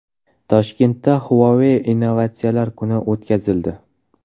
Toshkentda Huawei Innovatsiyalar kuni o‘tkazildi.